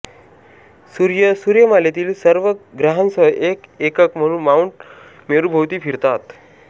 सूर्य सूर्यमालेतील सर्व ग्रहांसह एक एकक म्हणून माउंट मेरूभोवती फिरतात